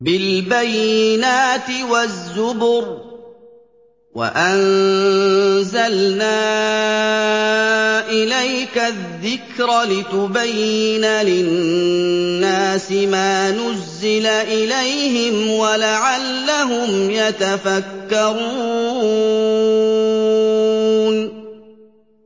بِالْبَيِّنَاتِ وَالزُّبُرِ ۗ وَأَنزَلْنَا إِلَيْكَ الذِّكْرَ لِتُبَيِّنَ لِلنَّاسِ مَا نُزِّلَ إِلَيْهِمْ وَلَعَلَّهُمْ يَتَفَكَّرُونَ